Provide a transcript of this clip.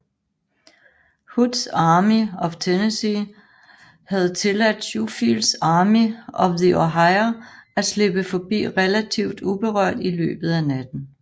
Hoods Army of Tennessee havde tilladt Schofields Army of the Ohio at slippe forbi relativt uberørt i løbet af natten